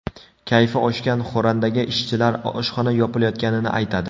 Kayfi oshgan xo‘randaga ishchilar oshxona yopilayotganini aytadi.